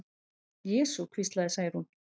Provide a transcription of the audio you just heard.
Jesú, hvíslaði Særún.